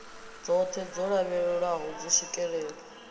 dzoṱhe dzo lavhelelwaho dzo swikelelwa